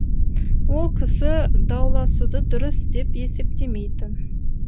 ол кісі дауласуды дұрыс деп есептемейтін